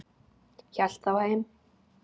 Hélt þá heim.